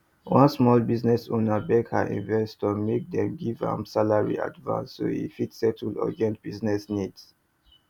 one small business owner beg her investors make dem give am salary advance so e fit settle urgent business needs